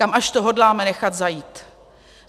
Kam až to hodláme nechat zajít?